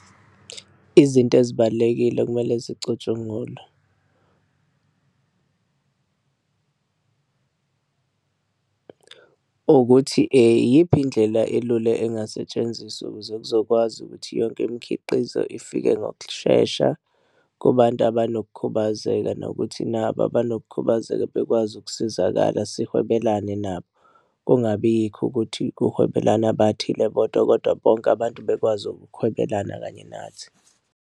Izinto ezibalulekile okumele zicutshungulwe, ukuthi eyiphi indlela elula engasetshenziswa ukuze kuzokwazi ukuthi yonke imikhiqizo ifike ngokushesha kubantu abanokukhubazeka nokuthi nabo abanokukhubazeka bekwazi ukusizakala sihwebelane nabo, kungabi yikho ukuthi kuhwebelana abathile bodwa kodwa bonke abantu bekwazi ukuhwebelana kanye nathi.